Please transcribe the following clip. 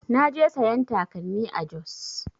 Na je sayan takalmi a Jos